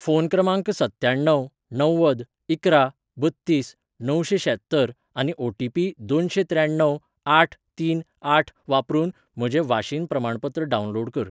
phone क्रमांक सत्त्याण्णव णव्वद इकरा बत्तीस णवशेंशात्तर आनी ओटीपी दोनशेंत्र्याण्णव आठ तीन आठ वापरून म्हजें वाशीन प्रमाणपत्र डावनलोड कर